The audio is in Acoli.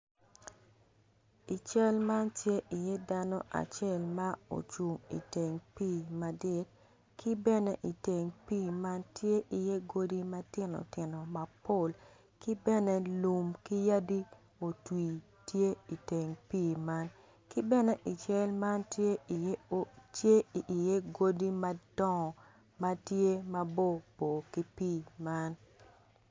I cal man tye iye dano acel ma ocung iteng pii ki bene iteng pii man tye iye godi matino tino mapol ki bene lum ki yadi otwi iteng pii man ki bene iteng pii man ki bene iteng pii man tye iye godi madongo ma tye maborbor ki pii man.